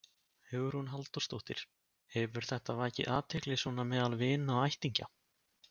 Hugrún Halldórsdóttir: Hefur þetta vakið athygli svona meðal vina og ættingja?